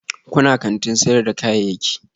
Kuna kantin sayar da kayayyaki?